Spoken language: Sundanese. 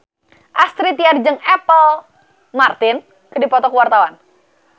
Astrid Tiar jeung Apple Martin keur dipoto ku wartawan